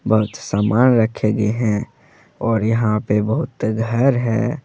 बहुत सामान रखें गए हैं और यहां पे बहुत घर है।